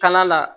Kala la